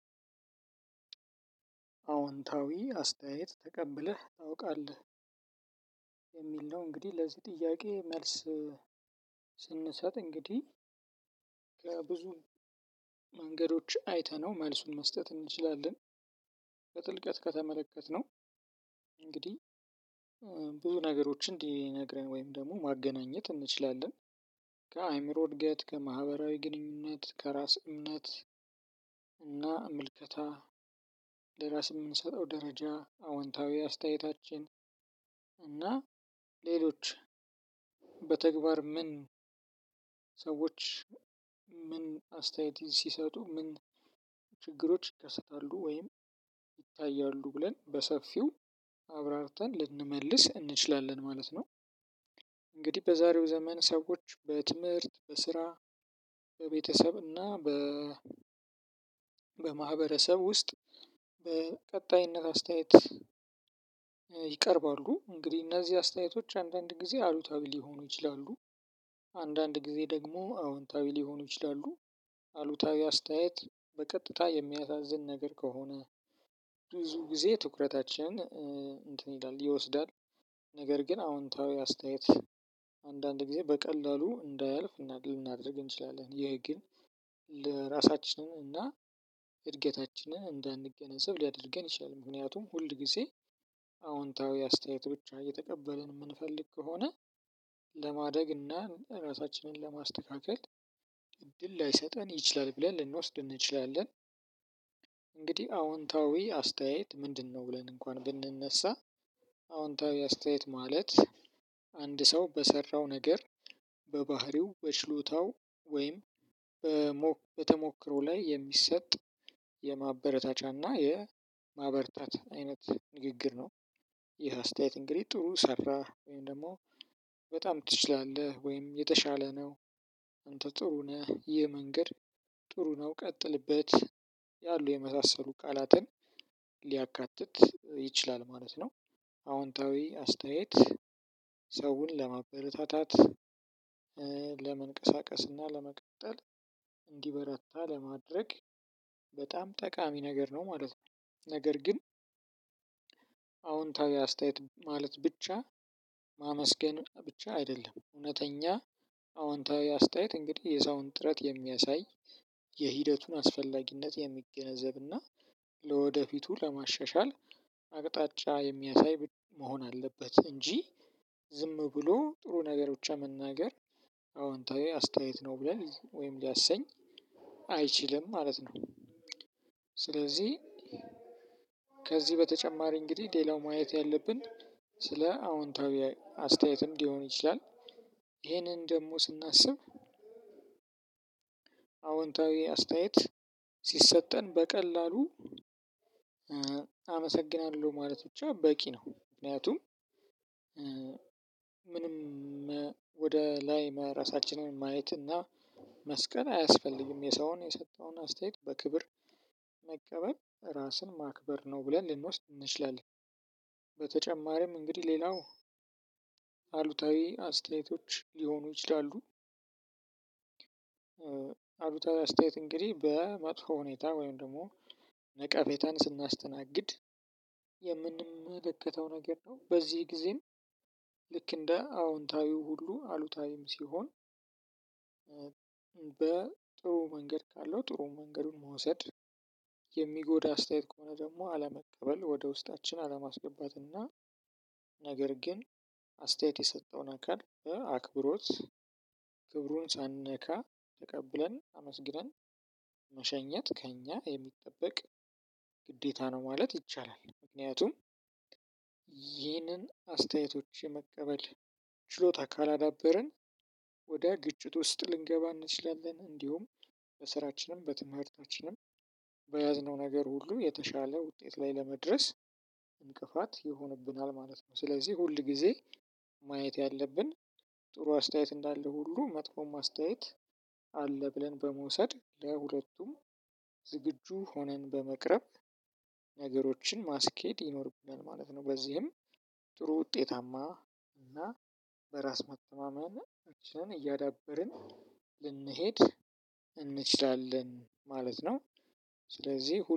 "አዎንታዊ አስተያየት ተቀብለህ ታውቃለህ?" የሚል ነው እንግዲህ ለዚህ ጥያቄ መልስ ስንሰጥ እንግዲህ ከብዙ መንገዶች አይተነው መልሱን መስጠት እንችላለን። በጥልቀት ከተመለከትነው እንግዲህ ብዙ ነገሮችን እንዲነግረን ወይም ደግሞ ማገናኘት እንችላለን። ከአእምሮ እድገት፣ ከማህበራዊ ግንኙነት፣ ከራስ እምነት እና ምልከታ ለራስ የምንሰጠው ደረጃ፣ አዎንታዊ አስተያየታችን፣ እና ሌሎች በተግባር ምን ሰዎች ምን አስተያየት ሲሰጡ ምን ችግሮች ይከሰታሉ ወይም ይታያሉ ብለን በሰፊው አብራርተን ልንመልስ እንችላለን ማለት ነው። እንግዲህ በዛሬው ዘመን ሰዎች በትምህርት፣ በስራ፣ በቤተሰብ እና በ በማህበረሰብ ውስጥ በቀጣይነት አስተያየት ይቀርባሉ። እንግዲህ እነዚህ አስተያየቶች አንዳንድ ጊዜ አሉታዊ ሊሆኑ ይችላሉ፤ አንዳንድ ጊዜ ደግሞ አዎንታዊ ሊሆኑ ይችላሉ። አሉታዊ አስተያየት በቀጥታ የሚያሳዝን ነገር ከሆነ ብዙ ጊዜ ትኩረታችንን እንትን ይላል ይወስዳል፤ ነገር ግን አዎንታዊ አስተያየት አንዳንድ ጊዜ በቀላሉ እንዳያልፍ እናደ ልናደርግ እንችላለን። ይሄ ግን ለ ራሳችንን እና እድገታችንን እንዳንገነዘብ ሊያደርገን ይችላል። ምክንያቱም ሁል ጊዜ አዎንታዊ አስተያየት ብቻ እየተቀበልን የምንፈልግ ከሆነ ለማደግ እና ራሳችንን ለማስተካከል እድል ላይሰጠን ይችላል ብለን ልንወስድ እንችላለን። እንግዲህ አዎንታዊ አስተያየት ምንድነው? ብለን እንኳን ብንነሳ አዎንታዊ አስተያየት ማለት አንድ ሰው በሰራው ነገር በባህሪው፣ በችሎታው ወይም በሞ በተሞክሮ ላይ የሚሰጥ የማበረታቻና የማበርታት አይነት ንግግር ነው። ይህ አስተያየት እንግዲህ ጥሩ ሰራህ ወይም ደግሞ በጣም ትችላለህ ወይም የተሻለ ነው አንተ ጥሩ ነህ ይህ መንገድ ጥሩ ነው ቀጥልበት ያሉ የመሳሰሉ ቃላትን ሊያካትት ይችላል ማለት ነው። አዎንታዊ አስተያየት ሰውን ለማበረታታት፣ ለመንቀሳቀስና ለመቀጠል እንዲበረታ ለማድረግ በጣም ጠቃሚ ነገር ነው ማለት ነው፤ ነገር ግን አዎንታዊ አስተያየት ማለት ብቻ ማመስገን ብቻ አይደለም፣ እውነተኛ አዎንታዊ አስተያየት እንግዲህ የሰውን ጥረት የሚያሳይ፣ የሂደቱን አስፈላጊነት የሚገነዘብና ለወደፊቱ ለማሻሻል አቅጣጫ የሚያሳይ መሆን አለበት እንጂ ዝም ብሎ ጥሩ ነገር ብቻ መናገር አዎንታዊ አስተያየት ነው ብለን ወይም ሊያሰኝ አይችልም ማለት ነው። ስለዚህ ከዚህ በተጨማሪ እንግዲህ ሌላው ማየት ያለብን ስለ አዎንታዊ አስተያየትም ሊሆን ይችላል። ይሄንን ደግሞ ስናስብ አዎንታዊ አስተያየት ሲሰጠን በቀላሉ አመሰግናለሁ ማለት ብቻ በቂ ነው። ምክንያቱም ምንም ወደ ላይ ለ ራሳችንን ማየት እና መስቀል አያስፈልግም የሰውን የሰጠውን አስተያየት በክብር መቀበል ራስን ማክበር ነው ብለን ልንወስድ እንችላለን። በተጨማሪም እንግዲህ ሌላው አሉታዊ አስተያየቶች ሊሆኑ ይችላሉ። አሉታዊ አስተያየት እንግዲህ በመጥፎ ሁኔታ ወይም ደግሞ ነቀፌታን ስናስተናግድ የምንመለከተው ነገር ነው። በዚህ ጊዜም ልክ እንደ አዎንታዊው ሁሉ አሉታዊም ሲሆን በጥሩ መንገድ ካለው ጥሩ መንገዱን መውሰድ፤ የሚጎዳ አስተያየት ከሆነ ደግሞ አለመቀበል ወደ ውስጣችን አለማስገባት እና ነገር ግን አስተያየት የሰጠውን አካል በአክብሮት ክብሩን ሳንነካ ተቀብለን አመስግነን መሸኘት ከእኛ የሚጠበቅ ግዴታ ነው ማለት ይቻላል። ምክንያቱም ይህንን አስተያየቶች የመቀበል ችሎታ ካላዳበርን ወደ ግጭት ውስጥ ልንገባ እንችላለን፤ እንዲሁም በስራችንም፣ በትምህርታችንም፣ በያዝነው ነገር ሁሉ የተሻለ ውጤት ላይ ለመድረስ እንቅፋት ይሆንብናል ማለት ነው። ስለዚህ ሁል ጊዜ ማየት ያለብን ጥሩ አስተያየት እንዳለ ሁሉ መጥፎም አስተያየት አለ ብለን በመውሰድ ለሁለቱም ዝግጁ ሆነን በመቅረብ ነገሮችን ማስኬድ ይኖርብናል ማለት ነው። በዚህም ጥሩ ውጤታማ እና በራስ መተማመናችንን እያዳበርን ልንሄድ እንችላለን ማለት ነው። ስለዚህ ሁ